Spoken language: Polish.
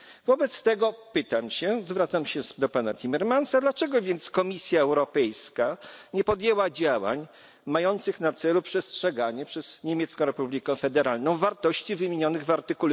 Wobec tego pytam się, zwracam się z do pana Timmermansa dlaczego więc Komisja Europejska nie podjęła działań mających na celu przestrzeganie przez Niemiecką Republiką Federalną wartości wymienionych w art.